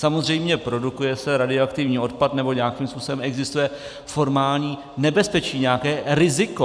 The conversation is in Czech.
Samozřejmě produkuje se radioaktivní odpad nebo nějakým způsobem existuje formální nebezpečí, nějaké riziko.